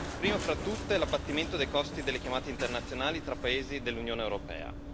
Prima fra tutti l'abbattimento dei costi delle chiamate internazionali tra paesi dell'Unione europea.